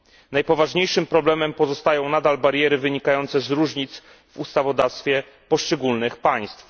Najpoważniejszym problemem pozostają nadal bariery wynikające z różnic w ustawodawstwie poszczególnych państw.